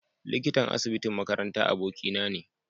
Likitan asibitin makaranta abokina ne.